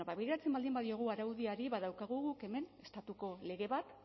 bueno ba begiratzen baldin badiogu araudiari badaukagu guk hemen estatuko lege bat